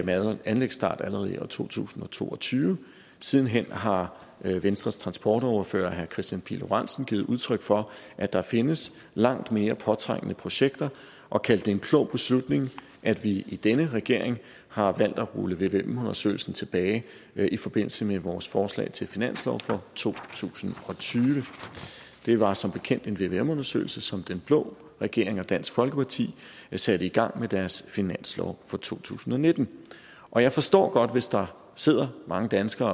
med anlægsstart allerede i år to tusind og to og tyve siden hen har venstres transportordfører herre kristian pihl lorentzen givet udtryk for at der findes langt mere påtrængende projekter og kaldt det en klog beslutning at vi i denne regering har valgt at rulle vvm undersøgelsen tilbage i forbindelse med vores forslag til finanslov for to tusind og tyve det var som bekendt en vvm undersøgelse som den blå regering og dansk folkeparti satte i gang med deres finanslov for to tusind og nitten og jeg forstår godt hvis der sidder mange danskere